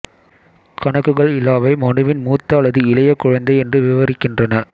கணக்குகள் இலாவை மனுவின் மூத்த அல்லது இளைய குழந்தை என்று விவரிக்கின்றன